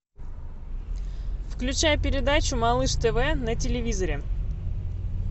включай передачу малыш тв на телевизоре